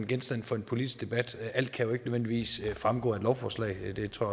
genstand for en politisk debat men alt kan jo ikke nødvendigvis fremgå af et lovforslag det tror